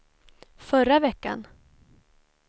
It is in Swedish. förra veckan